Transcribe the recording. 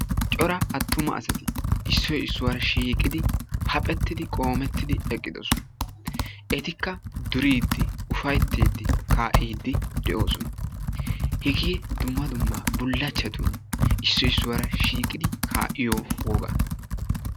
Cora attuma asati issoyi issuwara shiiqidi haphettidi qoometyidi eqqidosona. Etikka duriiddi ufayttiiddi kaa"iiddi de"oosona. Hegee dumma dumma bullachchatun issoyi issuwara shiiqidi kaa"iyo wogaa.